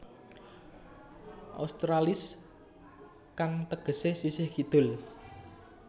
Australis kang tegesé sisih kidul